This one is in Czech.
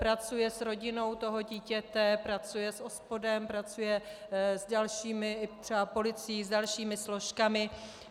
Pracuje s rodinou toho dítěte, pracuje s OSPODem, pracuje s dalšími, třeba policií, s dalšími složkami.